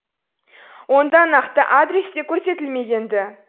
онда нақты адрес те көрсетілмеген ді